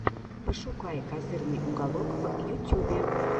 пошукай козырный уголок в ютюбе